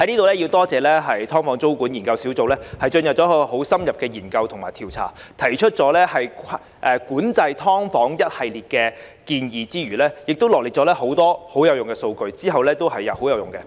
我在此感謝"劏房"租務管制研究工作小組進行深入研究及調查，提出管制"劏房"一系列建議之餘，也臚列了多項有用的數據，往後也十分有用。